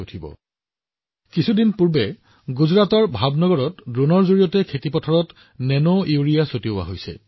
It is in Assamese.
উদাহৰণ স্বৰূপে কেইদিনমান আগতে গুজৰাটৰ ভাৱনগৰত ড্ৰোনৰ জৰিয়তে পথাৰত নেনোইউৰিয়া ছটিয়াই দিয়া হৈছিল